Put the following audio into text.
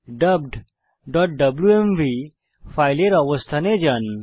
dubbedডব্লুএমভি ফাইলের অবস্থানে যান